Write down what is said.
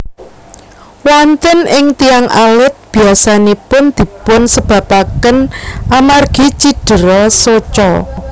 Wonten ing tiyang alit biyasanipun dipun sebabaken amargi cidera soca